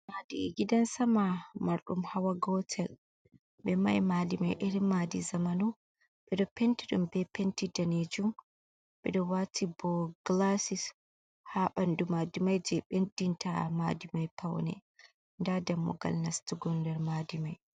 Madi’e gidan sama marɗum hawa gotel, ɓe mahi madimai eri madi zamanu ɓeɗo penti ɗum be penti danejun, ɓeɗo wati bo gilasis ha ɓandu madimai, je ɓeddin ta madi mai paune, nda dammugal nastugo nder madimai.